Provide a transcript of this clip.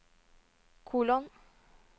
kolon